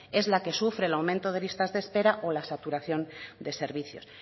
es la que sufre el aumento de listas de espera o la saturación de servicios